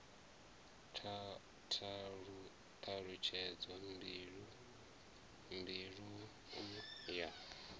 t halutshedzo mbili u ya